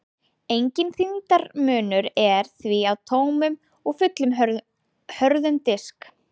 Enginn þyngdarmunur er því á tómum og fullum hörðum disk.